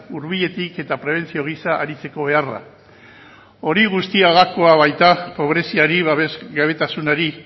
hurbiletik eta prebentzio gisa aritzeko beharra hori guztia gakoa baita pobreziari babes gabetasunari